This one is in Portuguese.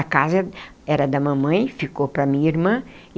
A casa era da mamãe, ficou para a minha irmã.